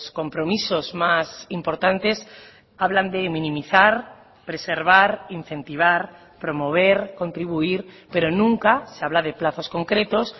compromisos más importantes hablan de minimizar preservar incentivar promover contribuir pero nunca se habla de plazos concretos